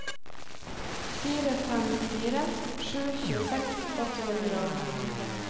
fire fem fire sju tjueseks åtte hundre og femtitre